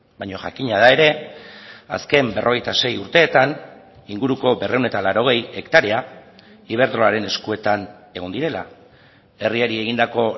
baina jakina da ere azken berrogeita sei urteetan inguruko berrehun eta laurogei hektarea iberdrolaren eskuetan egon direla herriari egindako